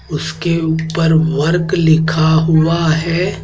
उसके ऊपर वर्क लिखा हुआ है।